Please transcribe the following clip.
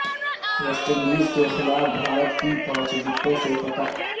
waste Indies کے خلاف بھارت کی پانچ وکٹوں سے فتح